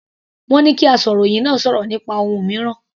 Wọ́n ní kí asọ̀rọ̀hìn náà sọ̀rọ̀ nípa ohun mìíràn.